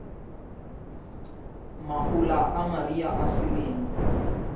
mahola a mariha a selemo